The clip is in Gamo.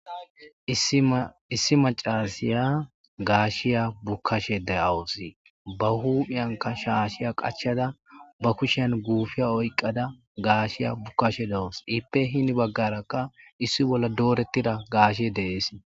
Issi macashiya gashiya bukashe de'awuse ba huphiyanka shashiya qachada gupiya oyqada gashiya bukashe dawus I hope heni bagaraka issi bolla doretida gashe des